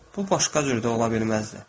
Bu başqa cür də ola bilməzdi.